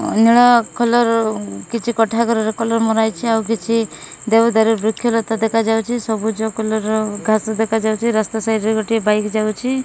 ଅନେକ କଲର୍ କିଛି କୋଠା ଘରର କଲର୍ ମରାଯାଇଚି। ଆଉ କିଛି ଦେବଦାରୁ ବୃକ୍ଷ ଲତା ଦେଖାଯାଉଚି। ସବୁଜ କଲର୍ ଘାସ ଦେଖାଯାଉଚି ରାସ୍ତା ସାଇଟ୍ ରେ ଗୋଟେ ବାଇକ୍ ଯାଉଛି।